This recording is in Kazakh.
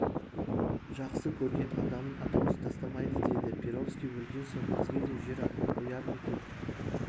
жақсы көрген адамын атаусыз тастамайды деді перовский өлген соң бізге де жер атын қояр ма екен